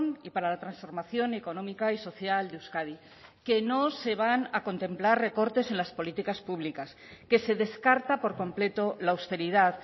y para la transformación económica y social de euskadi que no se van a contemplar recortes en las políticas públicas que se descarta por completo la austeridad